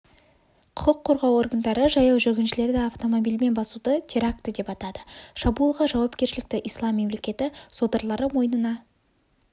құқық қорғау органдары жаяу жүргіншілерді автомобильмен басуды теракті деп атады шабуылға жауапкершілікті ислам мемлекеті содырлары мойнына